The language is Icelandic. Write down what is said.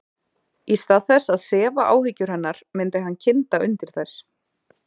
Í stað þess að sefa áhyggjur hennar myndi hann kynda undir þær.